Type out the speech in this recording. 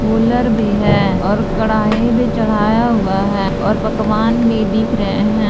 Cooler भी है और कढ़ाई भी चढ़ाया हुआ है और पकवान भी बिक रहे हैं।